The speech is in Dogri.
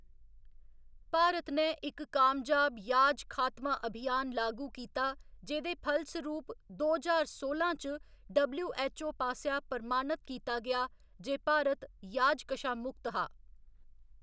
भारत ने इक कामयाब याज खात्मा अभियान लागू कीता जेह्‌दे फलसरूप दो ज्हार सोलां च डबल्यू.ऐच्च.ओ. पासेआ प्रमाणत कीता गेआ जे भारत याज कशा मुक्त हा।